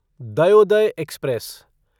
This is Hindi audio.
दयोदय एक्सप्रेस